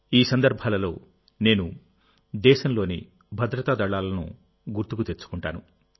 ఈ సందర్భాలలోనేను దేశంలోని భద్రతా దళాలను గుర్తుకు తెచ్చుకుంటాను